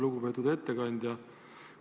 Lugupeetud ettekandja!